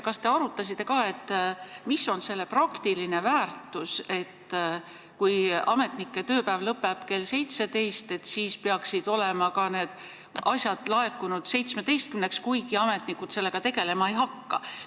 Kas te arutasite, mis on selle muudatuse praktiline väärtus, et kui ametnike tööpäev lõpeb kell 17, siis peaksid ka need asjad olema laekunud kella 17-ks, kuigi ametnikud nendega siis tegelema ei hakka?